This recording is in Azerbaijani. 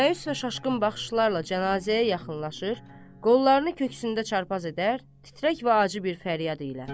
Məyus və şaşkın baxışlarla cənazəyə yaxınlaşır, qollarını köksündə çarpaz edər, titrək və acı bir fəryad ilə.